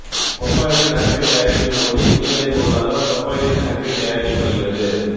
propylene oxide தயாரிக்கும்போது இணை விளை பொருளாக புரோப்பைலீன் ஆக்சைடு தயாரிக்கப்படுகிறது